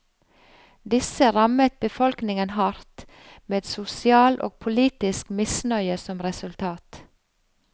Disse rammet befolkningen hardt, med sosial og politisk misnøye som resultat.